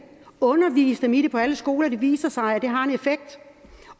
undervis dem i det på alle skoler det viser sig